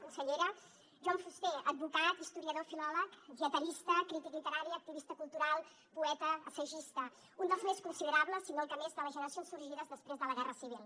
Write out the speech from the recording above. consellera joan fuster advocat historiador filòleg dietarista crític literari activista cultural poeta assagista un dels més considerables si no el que més de les generacions sorgides després de la guerra civil